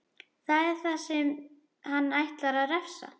Það er ég sem hann ætlar að refsa.